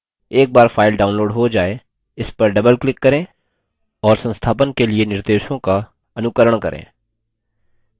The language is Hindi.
एक बार file downloaded हो जाय इस पर double click करें और संस्थापन के लिए निर्देशों का अनुकरण करें